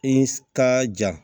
I ka ja